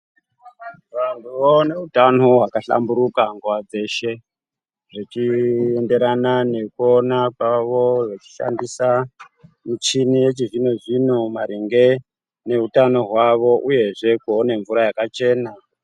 Vantu ngavawane utano hwakahlamburika nguwa dzeshe zvachienderana ngekuona kwavo vechishandisa michini yechizvino zvino maringe neutano hwavo uyezve kuone mvura yakachena .